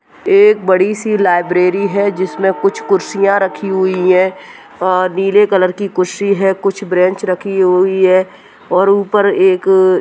एक बड़ी सी लाइब्रेरी है जिसमें कुछ कुर्सियां रखी हुई हैं अ नीले कलर की कुर्सी है कुछ ब्रेंच रखी हुई है और ऊपर एक अ --